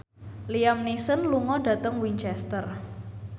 Liam Neeson lunga dhateng Winchester